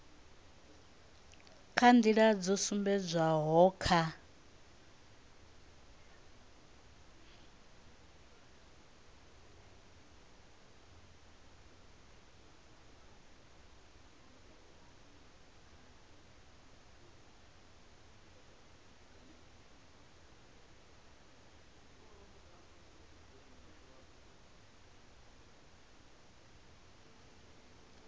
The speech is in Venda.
kha nḓila dzo sumbedzwaho kha